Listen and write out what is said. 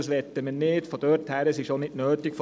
Das möchten wir nicht, da es auch nicht nötig ist.